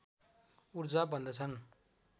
ऊर्जा भन्दछन्